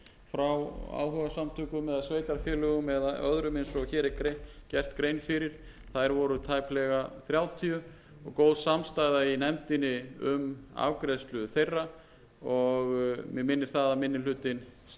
og hér er gert grein fyrir þær voru tæplega þrjátíu og góð samstaða í nefndinni um afgreiðslu þeirra og mig minnir það að minni hlutinn